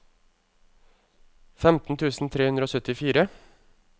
femten tusen tre hundre og syttifire